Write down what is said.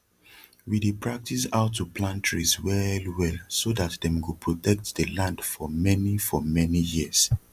we dey practise how to plant trees well well so dat dem go protect de land for mani for mani years